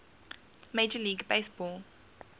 major league baseball